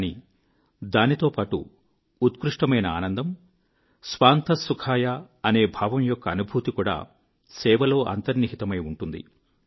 కానీ దాంతోపాటు ఉత్కృష్టమైన ఆనందము స్వాంతఃసుఖాయ అనే భావం యొక్క అనుభూతి కూడా సేవలో అంతర్నిహితమై ఉంటుంది